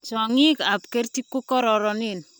Chong'ik kap kerti kukororonen.